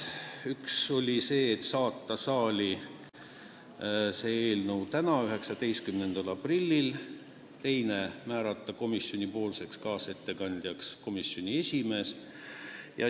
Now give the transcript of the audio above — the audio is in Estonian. Otsustati teha ettepanek saata eelnõu saali tänaseks, 19. aprilliks ja määrata kaasettekandjaks komisjoni esimees.